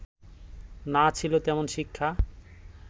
না ছিল তেমন শিক্ষা